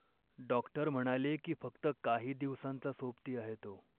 Doctor म्हणाले की फक्त काही दिवसांचा सोबती आहे तो.